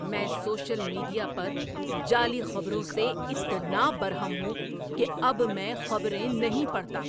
میں social media پر جعلی خبروں سے اتنا برہم ہوں کہ اب میں خبریں نہیں پڑھتا۔